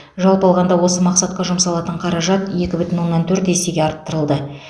жалпы алғанда осы мақсатқа жұмсалатын қаражат екі бүтін оннан төрт есеге арттырылды